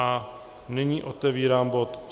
A nyní otevírám bod